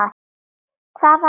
Hvað annað?!